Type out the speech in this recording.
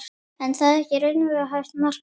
En er þetta raunhæft markmið?